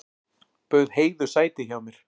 Bauð Heiðu sæti hjá mér.